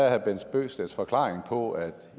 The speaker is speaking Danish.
herre bent bøgsteds forklaring på at